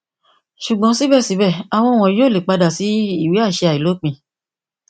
ṣugbọn sibẹsibẹ awọn wọnyi ko le pada si iwe aṣẹ ailopin